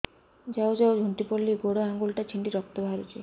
ଯାଉ ଯାଉ ଝୁଣ୍ଟି ପଡ଼ିଲି ଗୋଡ଼ ଆଂଗୁଳିଟା ଛିଣ୍ଡି ରକ୍ତ ବାହାରୁଚି